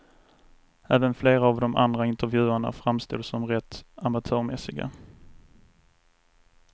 Även flera av de andra intervjuerna framstod som rätt amatörmässiga.